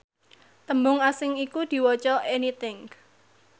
tembung asing iku diwaca anything